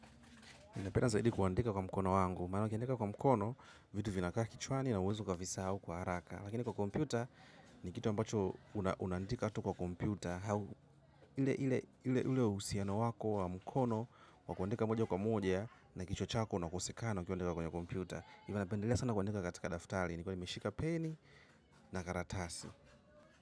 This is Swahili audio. Inapenda zaidi kuandika kwa mkono wangu. Mano kiandika kwa mkono, vitu vinaka kichwani na uwezo kafisau kwa haraka. Lakini kwa komputa, ni kitu ambacho unaandika tu kwa komputa. Ile usiano wako wa mkono, wakuandika moja kwa moja, na kichwa chako na kosekano ukiandika kwa komputa. Ivo napendelea sana kuandika katika daftali, ni kiwa meshika peni na karatasi.